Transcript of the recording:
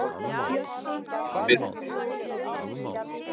Á þetta við um þig?